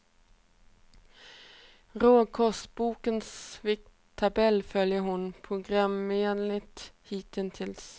Råkostbokens vikttabell följer hon programenligt hittills.